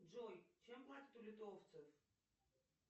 джой чем платят у литовцев